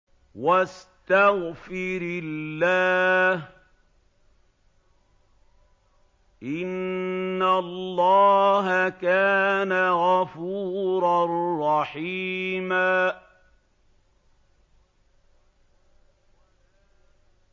وَاسْتَغْفِرِ اللَّهَ ۖ إِنَّ اللَّهَ كَانَ غَفُورًا رَّحِيمًا